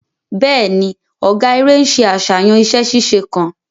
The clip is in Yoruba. Bẹẹni, ọgá eré nṣe àṣàyàn iṣẹ ṣíṣe kan